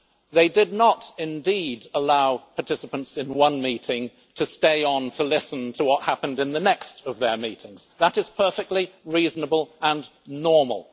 They did not, indeed, allow participants in one meeting to stay on to listen to what happened in the next of their meetings. That is perfectly reasonable and normal.